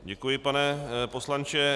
Děkuji, pane poslanče.